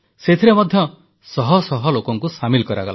ସେଥିରେ ମଧ୍ୟ ଶହ ଶହ ଲୋକଙ୍କୁ ସାମିଲ କରାଗଲା